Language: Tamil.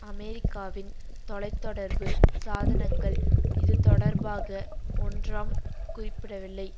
அமெரிக்காவின் தொலை தொடர்பு சாதனங்கள் இதுதொடர்பாக ஒன்றாம் குறிப்பிடவில்லை